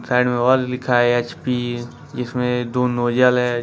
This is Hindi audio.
साइड में और लिखा है एच_पी जीसमें दो नोजल है ।